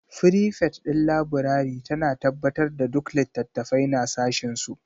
Frifet ɗin laburare tana tabbatar da duk littattafai na sashinsu